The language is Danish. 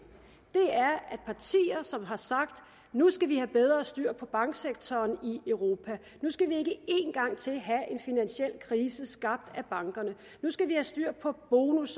er som har sagt at nu skal vi have bedre styr på banksektoren i europa at nu skal vi ikke en gang til have en finansiel krise skabt af bankerne at nu skal vi have styr på bonus